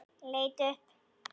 Leit upp.